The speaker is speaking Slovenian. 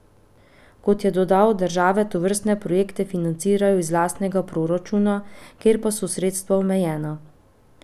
Kot je dodal, države tovrstne projekte financirajo iz lastnega proračuna, kjer pa so sredstva omejena.